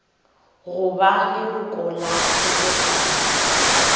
go ba leloko la kgobokano